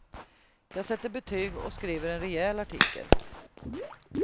Jag sätter betyg och skriver en rejäl artikel.